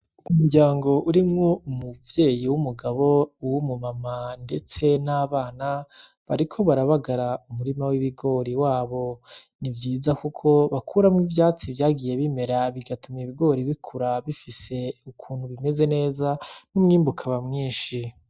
Umuryango urimwo umuvyeyi w'umugabo uwu m'umama ndetse n'abana bariko barabagara umurima w'ibigori wabo nivyiza kuko bakuramwo ivyatsi vyagiye bimera bigatuma ibigori bikura bifise ukuntu bimeze neza n'umwimbu ukaba mwishi.